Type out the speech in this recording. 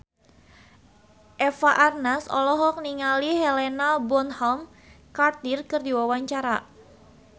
Eva Arnaz olohok ningali Helena Bonham Carter keur diwawancara